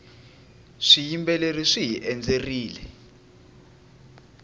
swiyimbeleri swihi endzerile